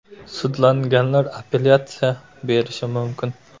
Sudlanganlar apellyatsiya berishi mumkin.